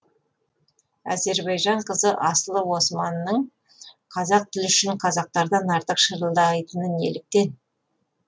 әзірбайжан қызы асылы османның қазақ тілі үшін қазақтан артық шырылдайтыны неліктен